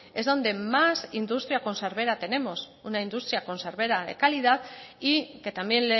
es donde más industria conservera tenemos una industria conservera de calidad y que también